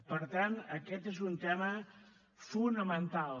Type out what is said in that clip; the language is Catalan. per tant aquest és un tema fonamental